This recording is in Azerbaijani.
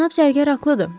Cənab zərgər haqlıdır.